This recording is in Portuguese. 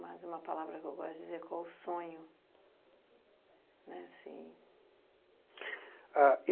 Mais uma palavra que eu gosto de dizer, qual o sonho? né assim...